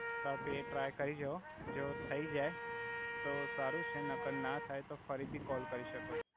આપ એ ટ્રાય કરી જોવો જો થઈ જઈ તો સારુ છે નકર ના થઈ તો ફરીથી કોલ કરી સકો